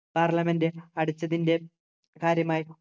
parliament അടച്ചതിൻ്റെ കാര്യമായി